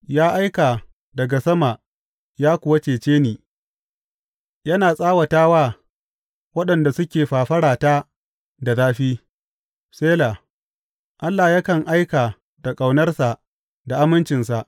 Ya aika daga sama ya kuwa cece ni, yana tsawata wa waɗanda suke fafarata da zafi; Sela Allah yakan aika da ƙaunarsa da amincinsa.